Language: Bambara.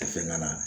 Fɛn ŋana